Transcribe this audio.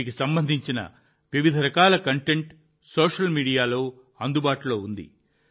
వీటికి సంబంధించిన వివిధ రకాల కంటెంట్ సోషల్ మీడియాలో అందుబాటులో ఉంది